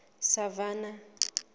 savannah